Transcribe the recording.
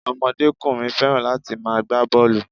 Omodékùnrin fẹ́ràn láti ma gbá bọ́ọ̀lù